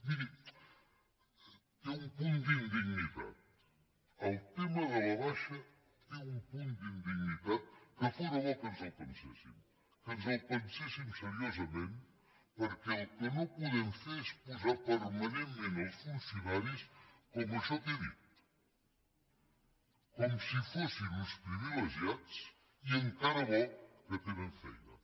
miri té un punt d’indignitat el tema de la baixa té un punt d’indignitat que fóra bo que ens el penséssim que ens el penséssim seriosament perquè el que no podem fer és posar permanentment els funcionaris com això que he dit com si fossin uns privilegiats i encara bo que tenen feina